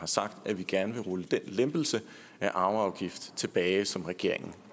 sagt at vi gerne vil rulle den lempelse af arveafgiften tilbage som regeringen